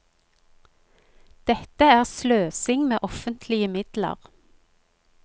Dette er sløsing med offentlige midler.